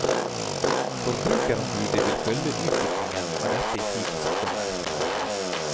Forbrukerombudet vil følge utviklingen av dette i tiden som kommer.